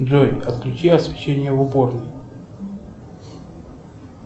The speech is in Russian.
джой отключи освещение в уборной